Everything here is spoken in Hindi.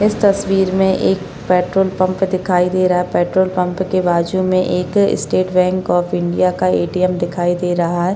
इस तस्वीर में एक पेट्रोल पंप दिखाई दे रहा है पेट्रोल पंप के बाजू में एक स्टेट बैंक ऑफ़ इंडिया का ऐ टी एम् दिखाई दे रहा है।